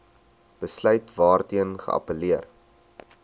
besluit waarteen geappelleer